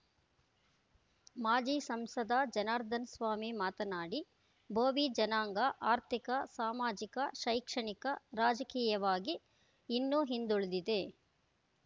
ಮಾಜಿ ಸಂಸದ ಜನಾರ್ದನಸ್ವಾಮಿ ಮಾತನಾಡಿ ಭೋವಿ ಜನಾಂಗ ಆರ್ಥಿಕ ಸಾಮಾಜಿಕ ಶೈಕ್ಷಣಿಕ ರಾಜಕೀಯವಾಗಿ ಇನ್ನೂ ಹಿಂದುಳಿದಿದೆ